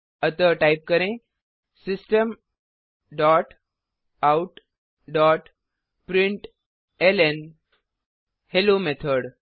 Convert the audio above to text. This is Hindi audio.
अतः टाइप करें system dot out dot println hello method